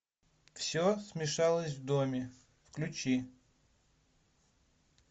все смешалось в доме включи